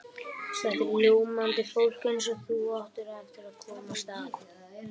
Þetta er ljómandi fólk eins og þú átt eftir að komast að.